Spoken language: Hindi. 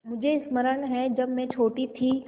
मुझे स्मरण है जब मैं छोटी थी